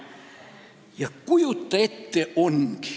Ja kujuta ette, ongi!